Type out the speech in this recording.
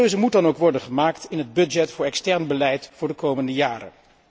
Die keuze moet dan ook worden gemaakt in het budget voor extern beleid voor de komende jaren.